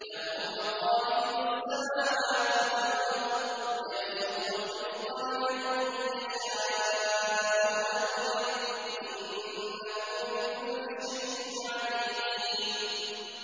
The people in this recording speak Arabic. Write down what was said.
لَهُ مَقَالِيدُ السَّمَاوَاتِ وَالْأَرْضِ ۖ يَبْسُطُ الرِّزْقَ لِمَن يَشَاءُ وَيَقْدِرُ ۚ إِنَّهُ بِكُلِّ شَيْءٍ عَلِيمٌ